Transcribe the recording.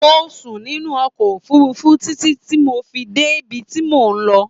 Mo sùn nínú ọkọ̀ òfurufú títí tí mo fi dé bib tí mò ń lọ